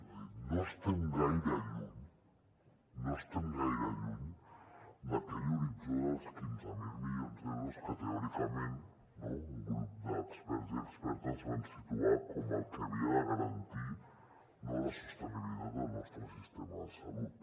és a dir no estem gaire lluny no estem gaire lluny d’aquell horitzó dels quinze mil milions d’euros que teòricament un grup d’experts i expertes van situar com el que havia de garantir la sostenibilitat del nostre sistema de salut